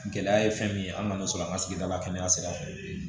Gɛlɛya ye fɛn min ye an kana sɔn an ka sigida la kɛnɛya sira fɛ